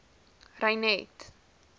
reinet